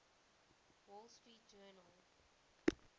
wall street journal